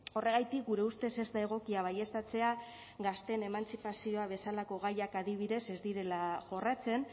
horregatik gure ustez ez da egokia baieztatzea gazteen emantzipazioa bezalako gaiak adibidez ez direla jorratzen